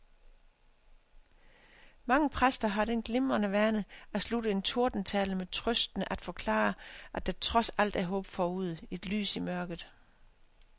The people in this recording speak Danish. Mange præster har den glimrende vane at slutte en tordentale med trøstende at forklare, at der trods alt er håb forude, et lys i mørket.